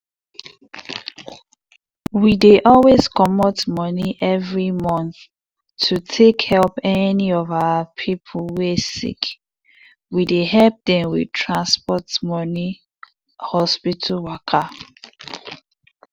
we dey always comot money every month to take help any of our people wey sick. we dey help dem with tansport money hospital waka.